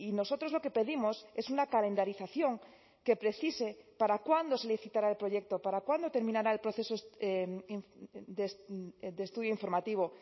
nosotros lo que pedimos es una calendarización que precise para cuándo se licitará el proyecto para cuándo terminará el proceso de estudio informativo